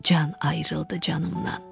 Can ayrıldı canımdan.